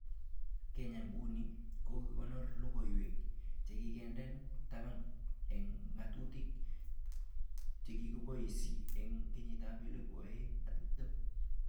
Kenya nguni kokakokonor logoiwek chekikindena taban eng ngatutik, chekiboisi eng 2020